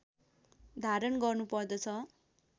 धारण गर्नुपर्दछ